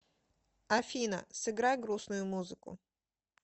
афина сыграй грустную музыку